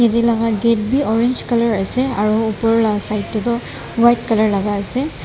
ete laga gate vi orange colour asa aru opor laga side tae toh white colour laga asa.